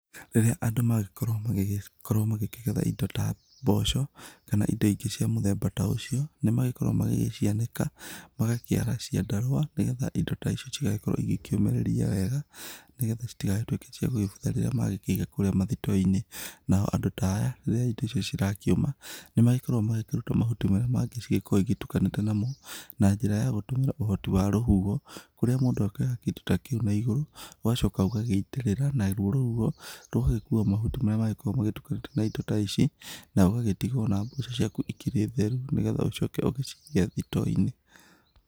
Rĩrĩa andũ magĩkorwo magĩgĩkorwo magĩkĩgetha indo ta mboco, kana indo ĩngĩ cia mũthemba ta ũcio, nĩ magĩkoragwo magĩgĩcianĩka, magakĩara ciandarũa nĩ getha indo ta ici cigagĩkorwo igĩkĩũmĩrĩria wega, nĩ getha citigagĩtuĩke cia gũgĩbutha rĩrĩa magĩkĩiga kũrĩa mathito-inĩ nao andũ ta aya, rírĩa indo icio cigakĩũma nĩ magĩkoragwo magĩkĩruta mahuti marĩa mangĩ cigĩkoragwo igĩtukanĩte namo, na njĩra ya gũtũmĩra rũhuho, kũrĩa mũndũ akĩoyaga kĩndũ ta kĩu na igũrũ, ũgacoka ũgagĩitĩrĩra, naruo rũhuho rũgagĩkua mahuti marĩa makoragwo magĩtukanĩte na indo ta ici nawe ũgagĩtigwo na mboco ciaku ikĩrĩ theru nĩ getha ucoke ugĩciige thito-inĩ.